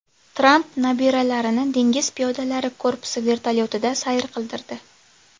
Tramp nabiralarini dengiz piyodalari korpusi vertolyotida sayr qildirdi.